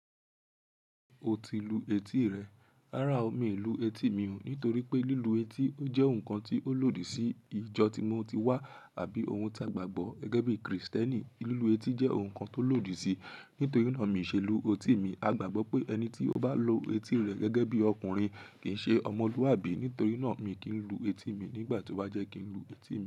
O ti lu etí rẹ, rárá o, mi lu etí mi o, nítorí pé lílu etí o jẹ́ ohun kan tí ó lòdì sí ìjọ tí mo ti wá, àbí ohun tàgbàgbọ́. Gẹ́gẹ́ bí Kristẹni, lílu etí jẹ́ ohun kan tó lòdì sí, nítorí náà mi ṣe lu etí mi. A gbàgbọ́ pé ẹni tí ó bá lu etí rẹ̀ gẹ́gẹ́ bí ọkùnrin kì í ṣe ọmọlúwàbí, nítorí náà mi kì í lu etí mi. Nígbà tí ó bá jẹ́ kí n lu etí mi.